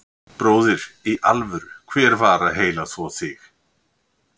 Bróðir, í alvöru, hver var að heilaþvo þig?